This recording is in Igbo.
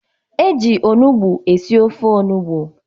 E ji onugbo esi ofe onugbo.